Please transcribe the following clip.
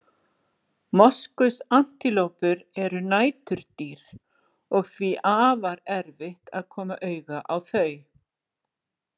Moskusantilópur eru næturdýr og því afar erfitt að koma auga á þau.